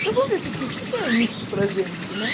Então, vamos ver o que que, que que é isso para a gente, né?